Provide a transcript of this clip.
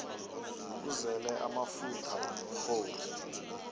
uzele amafutha umrhoru